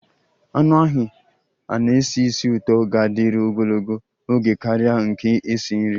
Anụ ahụ a na-esi ísì ụtọ ga-adịru ogologo oge karịa nke esi nri